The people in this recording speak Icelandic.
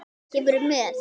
Kemurðu með?